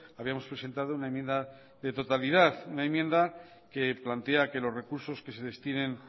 habíamos presentado una enmienda de totalidad una enmienda que plantea que los recursos que se destinen